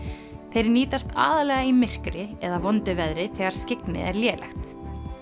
þeir nýtast aðallega í myrkri eða vondu veðri þegar skyggni er lélegt